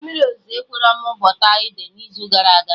Mmiri ozuzo ekwerọ mụ bọpụta ede n'izu gara aga